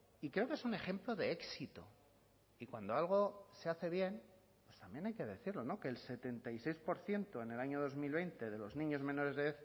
y creo que es un ejemplo de éxito y cuando algo se hace bien también hay que decirlo que el setenta y seis por ciento en el año dos mil veinte de los niños menores de